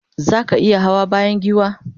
zaka iya Hawa bayan giwa?